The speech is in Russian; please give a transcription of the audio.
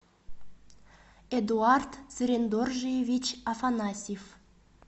эдуард цырендоржиевич афанасьев